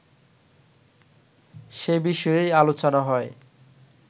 সে বিষয়েই আলোচনা হয়